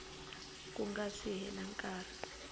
ku nga si hela nkarhi